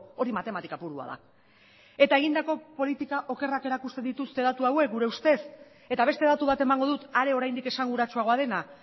hori matematika purua da eta egindako politika okerrak erakusten dituzte datu hauek gure ustez eta beste datu bat emango dut are oraindik esanguratsuagoa dena